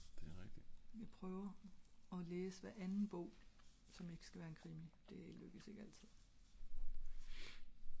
jeg prøver og læse hver anden bog som ikke skal være en krimi det er lykkes ikke altid